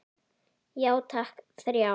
Já takk, þrjá.